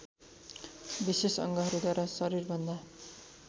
विशेष अङ्गहरूद्वारा शरीरभन्दा